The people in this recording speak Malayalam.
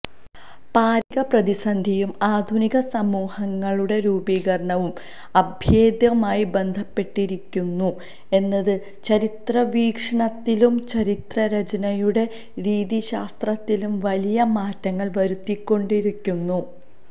പാരിസ്ഥിതിക പ്രതിസന്ധിയും ആധുനിക സമൂഹങ്ങളുടെ രൂപീകരണവും അഭേദ്യമായി ബന്ധപ്പെട്ടിരിക്കുന്നു എന്നത് ചരിത്ര വീക്ഷണത്തിലും ചരിത്രരചനയുടെ രീതിശാസ്ത്രത്തിലും വലിയ മാറ്റങ്ങള് വരുത്തിക്കൊണ്ടിരിക്കുന്നു